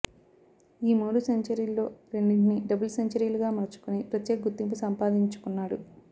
ఈ మూడు సెంచరీల్లో రెండింటిని డబుల్ సెంచరీలుగా మలుచుకుని ప్రత్యేక గుర్తింపు సంపాదిచుకున్నాడు